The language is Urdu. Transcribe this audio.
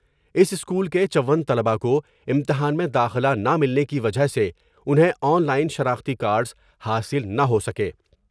اس اسکول کے چون طلباء کو امتحان میں داخلہ نہ ملنے کی وجہہ سے انہیں آن لائن شناختی کارڈس حاصل نہ ہو سکے ۔